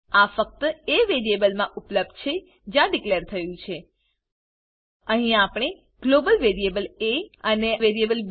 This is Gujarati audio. આં ફક્ત એ વેરીએબલ મા ઉપલબ્ધ છે જ્યાં ડીકલેર થયું છે અહી આપણે ગ્લોબલ વેરીએબલ એ આને વેરીએબલ બી